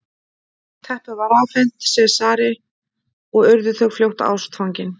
teppið var afhent sesari og urðu þau fljótt ástfangin